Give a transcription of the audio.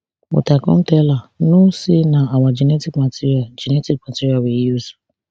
but i come tell her no say na our genetic material genetic material we use